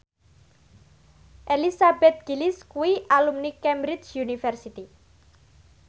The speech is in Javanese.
Elizabeth Gillies kuwi alumni Cambridge University